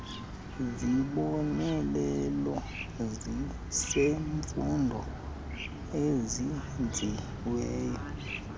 zibonelelo zezemfundo ezenziweyo